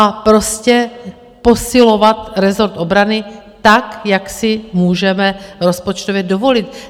A prostě posilovat rezort obrany tak, jak si můžeme rozpočtově dovolit.